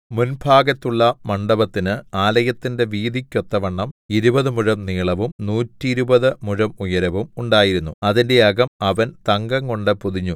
മുൻഭാഗത്തുള്ള മണ്ഡപത്തിന് ആലയത്തിന്റെ വീതിക്കൊത്തവണ്ണം ഇരുപതു മുഴം നീളവും നൂറ്റിരുപത് മുഴം ഉയരവും ഉണ്ടായിരുന്നു അതിന്റെ അകം അവൻ തങ്കംകൊണ്ടു പൊതിഞ്ഞു